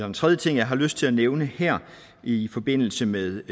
en tredje ting jeg har lyst til at nævne her i forbindelse med